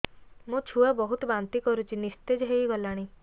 ମୋ ଛୁଆ ବହୁତ୍ ବାନ୍ତି କରୁଛି ନିସ୍ତେଜ ହେଇ ଗଲାନି